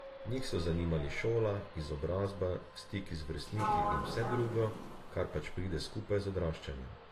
Njih so zanimali šola, izobrazba, stiki z vrstniki in vse drugo, kar pač pride skupaj z odraščanjem.